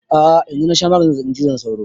A'a yanzu na sha maganin zazzaɓin cizon sauro